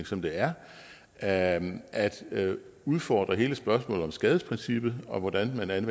som det er at udfordre hele spørgsmålet om skadesprincippet og hvordan